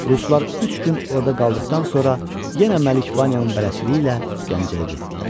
Ruslar üç gün orada qaldıqdan sonra yenə Məlik Vanyanın bələdçiliyi ilə Gəncəyə getdilər.